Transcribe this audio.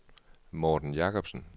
Morten Jacobsen